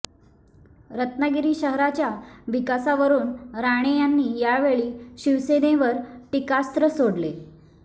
रत्नागिरी शहराच्या विकासावरून राणे यांनी यावेळी शिवसेनेवर टीकास्त्र सोडले